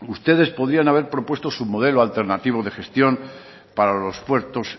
ustedes podían haber propuesto su modelo alternativo de gestión para los puertos